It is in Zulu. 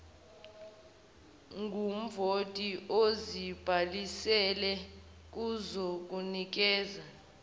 ngumvoti ozibhalisile kuzokunikeza